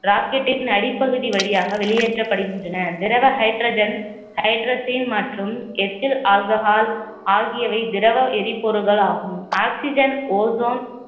rocket டின் அடிப்பகுதி வழியாக வெளியேற்றப்படுகின்றன திரவ hydrogen மற்றும் ethele alcohol ஆகியவை திரவ எரிபொருள்களாகும் oxygen ozone